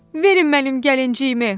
"Verin mənim gəlinciyimi!"